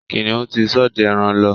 Kìnìún ti ṣọdẹ ẹran lọ